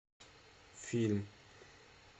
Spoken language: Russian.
фильм